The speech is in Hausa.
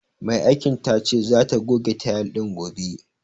Mai aikin tace zata goge tayil din gobe.